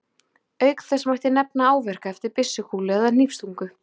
Auk þess mætti nefna áverka eftir byssukúlu eða hnífsstungu.